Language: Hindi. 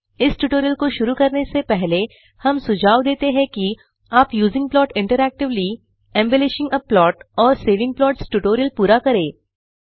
इस ट्यूटोरियल को शुरू करने से पहले हम सुझाव देते हैं कि आप using plot interactively embellishing a plot और सेविंग प्लॉट्स ट्यूटोरियल पूरा करें